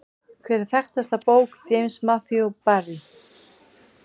Hver er þekktasta bók James Matthew Barrie?